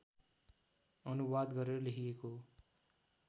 अनुवाद गरेर लेखेको हो